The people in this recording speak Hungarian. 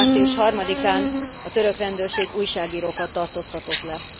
Március 3 án a török rendőrség újságírókat tartóztatott le.